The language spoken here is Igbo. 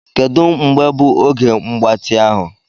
Kedu mgbe bụ oge mgbatị ahụ.